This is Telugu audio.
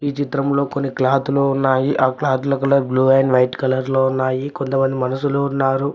ఈ చిత్రం లో కొన్ని క్లాత్ లు ఉన్నాయి ఆ క్లాత్ ల colour blue and white colour లో ఉన్నాయి కొంతమంది మనుషులు ఉన్నారు.